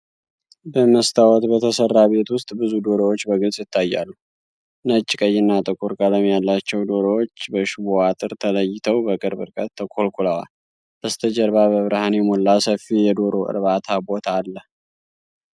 በመስታወት በተሠራ ቤት ውስጥ ብዙ ዶሮዎች በግልጽ ይታያሉ። ነጭ፣ ቀይና ጥቁር ቀለም ያላቸው ዶሮዎች በሽቦ አጥር ተለይተው በቅርብ ርቀት ተኮልኩለዋል። በስተጀርባ በብርሃን የተሞላ ሰፊ የዶሮ እርባታ ቦታ አለ።